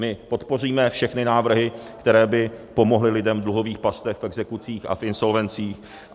My podpoříme všechny návrhy, které by pomohly lidem v dluhových pastech, v exekucích a v insolvencích.